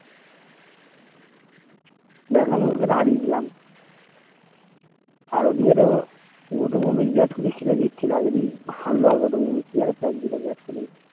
বেঙ্গলরকে তো হারিয়ে দিলাম আর ওই দিকে তো গৌতম গাম্ভির বিরাট কোহলি আগের দিন হাল্লা কতো pack দিলো বিরাট কোহলি